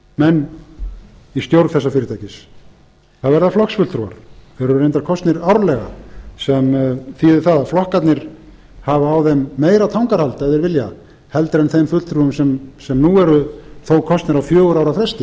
menn í stjórn þessa fyrirtækis það verða flokksfulltrúar þeir eru reyndar kosnir árlega sem þýðir það að flokkarnir hafa á þeim meira tangarhald ef þeir vilja heldur en þeim fulltrúum sem nú eru þó kosnir á fjögurra ára